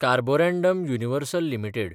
Carborundum Universal limited